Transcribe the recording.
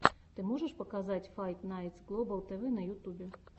ты можешь показать файт найтс глобал тв на ютубе